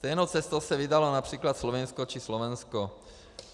Stejnou cestou se vydalo například Slovinsko či Slovensko.